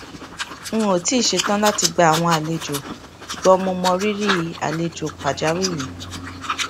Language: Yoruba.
n ò tíì ṣetán láti gba àwọn àlejò ṣùgbón mo mọrírì àlejò pàjáwìrì